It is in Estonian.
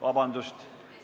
Vabandust!